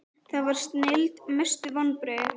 það var snilld Mestu vonbrigði?